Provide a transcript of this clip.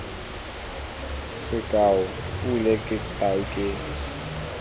sekao pule ke tau ke